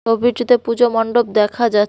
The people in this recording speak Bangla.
ছবিটিতে পুজো মণ্ডপ দেখা যাচ্--